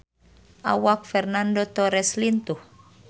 Awak Fernando Torres lintuh